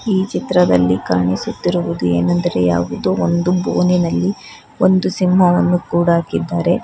ಈ ಚಿತ್ರದಲ್ಲಿ ಕಾಣಿಸುತ್ತಿರುವುದು ಏನೆಂದರೆ ಯಾವುದೋ ಒಂದು ಬೋನಿನಲ್ಲಿ ಒಂದು ಸಿಂಹವನ್ನು ಕೂಡಾಕಿದ್ದಾರೆ.